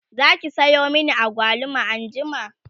Zaki Sayo min agwaluma anjima?